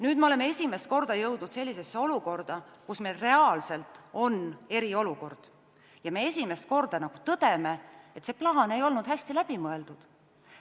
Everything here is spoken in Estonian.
Nüüd me oleme esimest korda jõudnud reaalselt eriolukorda ja esimest korda tõdeme, et see plaan ei olnud hästi läbi mõeldud.